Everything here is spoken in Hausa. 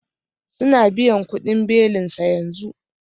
Suna biyan kudin belinsa yanzu